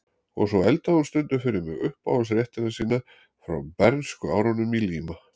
Og svo eldaði hún stundum fyrir mig uppáhaldsréttina sína frá bernskuárunum í Líma